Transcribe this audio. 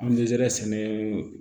An bɛzɛri sɛnɛ